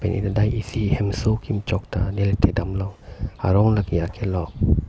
neli ladak isi hemso kimchok ta neli thek dam long arong lake akelok.